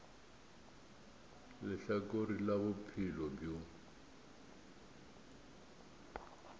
le lehlakore la bophelo bjo